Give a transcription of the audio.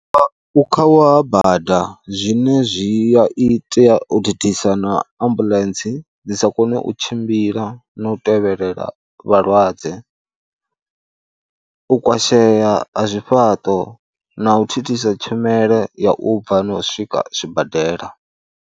Ukhauwa ha bada zwine zwi a itea u thithisa na ambuḽentse dzi sa kone u tshimbila na u tevhelela vhalwadze, u kwashea a zwifhaṱo na u thithisa tshumelo ya u bva na u swika zwibadela.